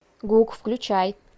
гук включай